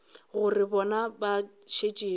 gore bana ba šetše ba